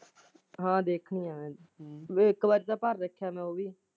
ਹਾਂ ਦੇਖੁਗਾ ਮੈਂ ਵੀ ਇੱਕ ਵਾਰ ਤਾਂ ਭਰ ਦੇਖਾਂਗੇ।